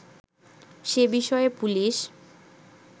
সে বিষয়ে পুলিশ